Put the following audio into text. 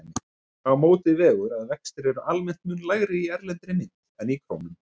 Á móti vegur að vextir eru almennt mun lægri í erlendri mynt en í krónum.